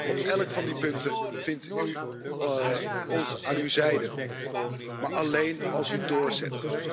Op elk van die punten vindt u ons aan uw zijde, maar alleen als u doorzet.